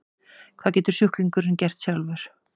Hvað getur sjúklingurinn gert sjálfur?